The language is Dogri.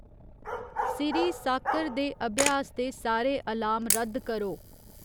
सिरी सॅाक्कर दे अभ्यास दे सारे अलार्म रद्द करो